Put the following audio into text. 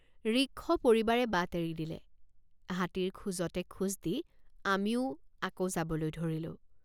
ঋক্ষপৰিবাৰে বাট এৰি দিলে। ঋক্ষপৰিবাৰে বাট এৰি দিলে। হাতীৰ খোজতে খোজ দি আমিও আকৌ যাবলৈ ধৰিলোঁ।